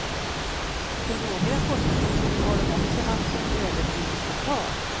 På några postkontor har de också haft en övertidsblockad.